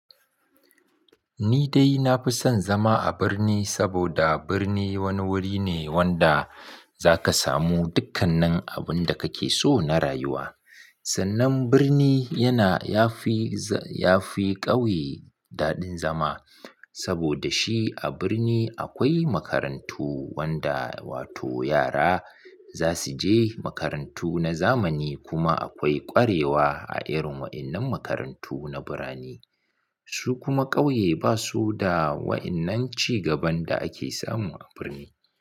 Ni dai na fi son zama a birni saboda birni wani wuri ne wanda za ka samu dukkan abin da kake so na rayuwa. Sannan birni yana yafi, yafi ƙauye daɗin zama saboda shi a birni akwai makarantu wanda wato yara za su je makarantu na zamani kuma akwai ƙwarewa a irin wa'innan makarantu na birane. Su kuma ƙauye ba su da wa'innan cigaban da ake samu a birni.